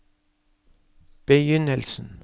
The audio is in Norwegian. begynnelsen